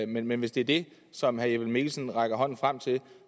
men men hvis det er det som herre jeppe mikkelsen rækker hånden frem til